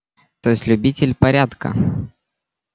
то есть любитель порядка